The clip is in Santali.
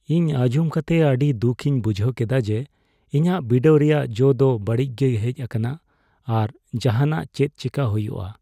ᱤᱧ ᱟᱸᱡᱚᱢ ᱠᱟᱛᱮᱫ ᱟᱹᱰᱤ ᱫᱩᱠᱷᱤᱧ ᱵᱩᱡᱷ ᱠᱮᱫᱟ ᱡᱮ ᱤᱧᱟᱜ ᱵᱤᱰᱟᱹᱣ ᱨᱮᱭᱟᱜ ᱡᱚ ᱫᱚ ᱵᱟᱹᱲᱤᱡ ᱜᱮ ᱦᱮᱡ ᱟᱠᱟᱱᱟ ᱾ ᱟᱨ ᱡᱟᱦᱟᱱᱟᱜ ᱪᱮᱫ ᱪᱮᱠᱟᱭ ᱦᱩᱭᱩᱜᱼᱟ ?